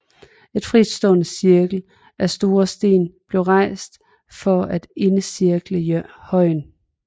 En fritstående cirkel af store sten blev rejst for at indercirkle højen